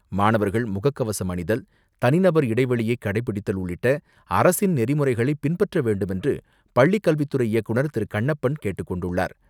மாணவர்கள் முகக்கவசம் அணிதல், தனிநபர் இடைவெளியை கடைப்பிடித்தல் உள்ளிட்ட அரசின் நெறிமுறைகளை பின்பற்ற வேண்டும் என பள்ளிக்கல்வித் துறை இயக்குனர் திரு கண்ணப்பன் கேட்டுக்கொண்டுள்ளார்.